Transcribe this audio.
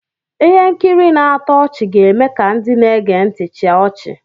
Ihe nkiri na-atọ ọchị ga-eme ka ndị na-ege ntị chịa ọchị.